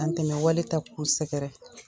Dan tɛmɛ wale ta k'u sɛgɛrɛ.